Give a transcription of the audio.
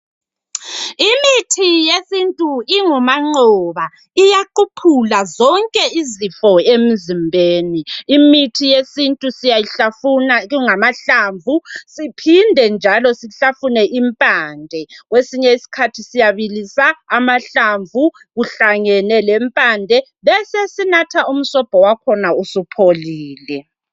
Imithi yesintu ingumanqoba. Iyaquphula zonke izifo emzimbeni. Imithi yesintu siyayihlafuna ingamahlamvu. Siphinde njalo sihlafune impande. Kwesinye isikhathi siyabilisa amahlamvu, kuhlangene lempande. Besesinatha umsobho wakhona usupholile.